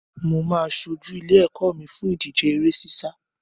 Mà á ṣojú ilé-ẹ̀kọ́ mi fún ìdíje eré sísá.